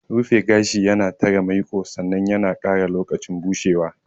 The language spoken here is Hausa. Rufe gashi yana tare maiƙo sannan yana ƙara lokacin bushewa.